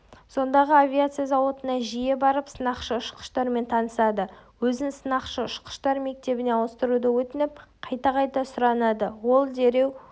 сондағы авиация зауытына жиі барып сынақшы-ұшқыштармен танысады өзін сынақшы-ұшқыштар мектебіне ауыстыруды өтініп қайта-қайта сұранады ол дереу